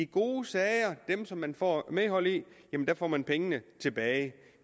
gode sager dem som man får medhold i får man pengene tilbage